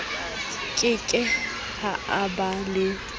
ke ke ha ba le